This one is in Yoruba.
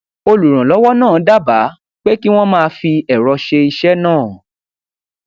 olùrànlówó náà dábàá pé kí wón máa fi èrọ ṣe iṣé náà